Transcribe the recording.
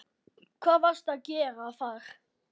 Hvað varstu að gera þar?